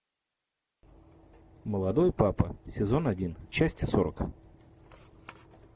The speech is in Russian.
молодой папа сезон один часть сорок